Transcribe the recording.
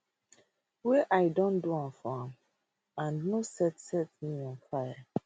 wey i don do for am and no set set me on fire